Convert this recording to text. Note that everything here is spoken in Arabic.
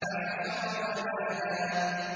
فَحَشَرَ فَنَادَىٰ